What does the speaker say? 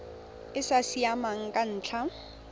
e sa siamang ka ntlha